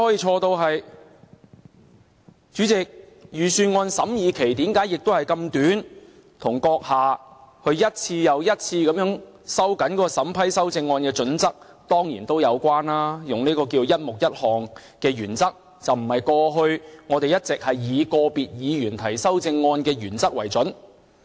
主席，預算案審議期這麼短，當然跟閣下一次又一次收緊審批修正案的準則有關，以"一目一項"的原則，而不是過去我們一直以個別議員提出修正案的原則為準。